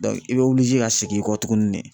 i bɛ ka segin i kɔ tugunni de.